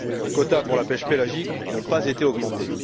Les quotas pour la pêche pélagique n'ont pas été augmentés.